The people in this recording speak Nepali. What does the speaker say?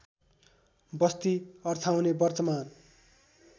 बस्ती अर्थाउने वर्तमान